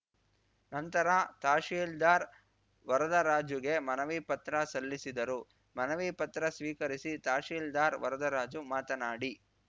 ನಂತರ ತಹಶೀಲ್ದಾರ್ ವರದರಾಜುಗೆ ಮನವಿ ಪತ್ರ ಸಲ್ಲಿಸಿದರು ಮನವಿ ಪತ್ರ ಸ್ವೀಕರಿಸಿ ತಹಶೀಲ್ದಾರ್ ವರದರಾಜು ಮಾತನಾಡಿ